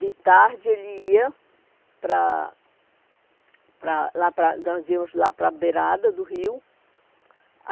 De tarde, ele ia para para lá para... Nós íamos lá para a beirada do rio.